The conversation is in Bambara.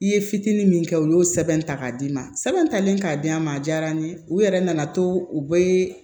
I ye fitini min kɛ u y'o sɛbɛn ta k'a d'i ma sɛbɛn talen k'a di an ma a diyara n ye u yɛrɛ nana to u bɛ